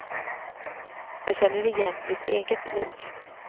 Jag känner igen mitt eget liv.